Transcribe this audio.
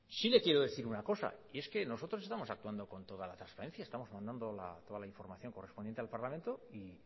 sí le quiero decir una cosa y es que nosotros estamos actuando con toda la transparencia estamos mandando toda la información correspondiente al parlamento y